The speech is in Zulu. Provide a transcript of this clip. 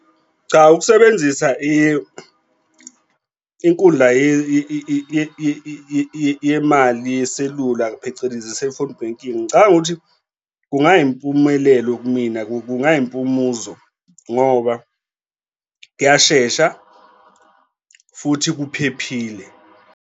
Cha, ukusebenzisa inkundla yemali yeselula phecelezi, i-cellphone banking. Ngicabanga ukuthi kungayimpumelelo kumina kungayimpumuzo ngoba kuyashesha futhi kuphephile.